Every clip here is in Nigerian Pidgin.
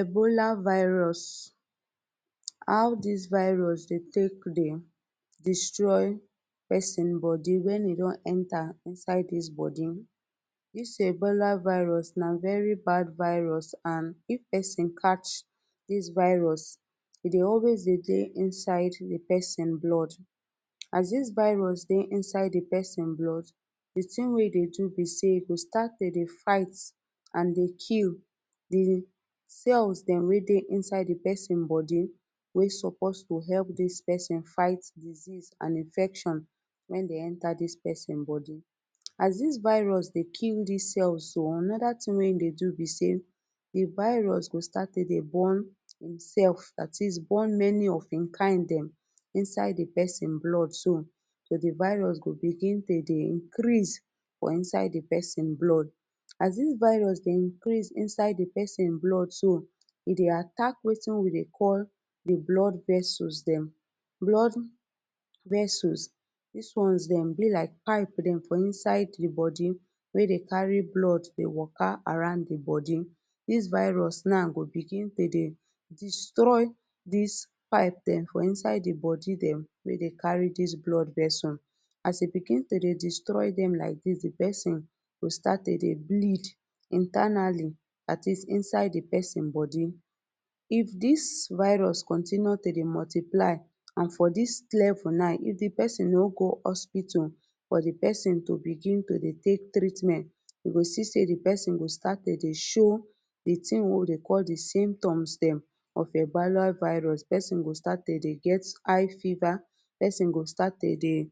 Ebola virus how dis virus dey take dey destroy person body wen e don enter inside dis body. Dis ebola virus na very bad virus and if person catch dis virus e dey always dey dey inside di person blood as dis virus dey inside di person blood, di thing wey e dey do be sey e go start to dey fight and dey kill di cells dem wey dey inside di person body wey supposed to help dis person fight disease and infection wen dey enter dis person body. As dis virus dey kill dis cells so another thing wey e dey do be sey di virus go start to dey born himself dat is born many of him kind dem inside di person blood so di virus go begin to dey increase for inside di person blood as dis virus dey increase inside di person blood so e dey attack wetin we dey call di blood vessels dem, blood vessels dis ones dem be like pipe dem for inside di body wey dey carry blood dey waka around di body dis virus now go begin to dey destroy dis pipe dem for inside di body dem wey dey carry dis blood vessel, as e begin to dey destroy dem like dis di person go start to dey bleed internally dat is inside di person body if dis virus continue to dey multiply and for dis vel now if di person no go hospital or di person to begin to dey take treatment you go see sey di person go start to di show di thing wey we dey call di symptoms dem of ebuala virus di person go start to dey get high fiver, di person go start to dey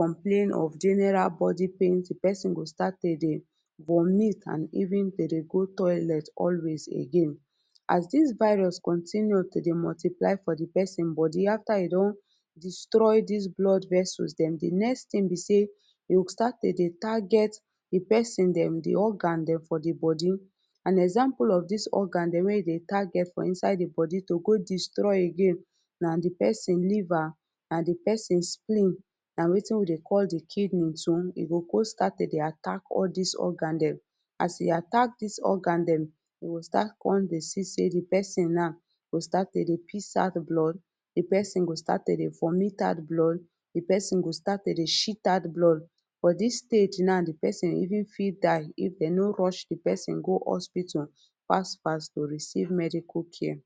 complain of general body pain, di person go start to dey vomit and even to dey go toilet always again as dis virus continue to dey multiply for di person body after e don destroy dis blood vessels dem di next thing be sey e go start to target di person dem di organ dem for di body and example of dis organ dem wey e dey target for inside di body to go destroy again na di person liver and di person spleen na wetin we dey call di kidney too e go go start to dey attack all dis organ dem as e attack dis organ dem we go start con dey see di person now go start to dey piss out blood, di person go start to dey vomit out blood, di person go start to dey shit out blood for dis stage now di person even fit die if dey no rush di person go hospital fast fast to receive medical care.